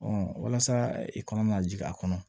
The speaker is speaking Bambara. walasa i kana na jigin a kɔnɔ